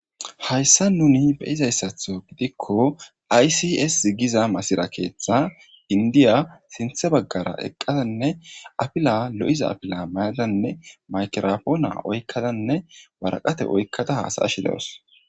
hayssa nuni beyizayssatho gidikko aysis zigiza masira keeththa indiya sinthe baggara eqqadanne apila lo7iza apila mayadanne maykerapoona oykkadanne waraqate oykkada haasayashi dewos